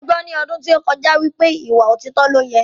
Mo gbọ́ ní ọdún tó kọjá wípé ìwà òtítọ ni ọ́ yẹ